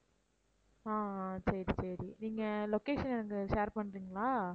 ஆஹ் ஆஹ் சரி சரி நீங்க location எனக்கு share பண்றீங்களா?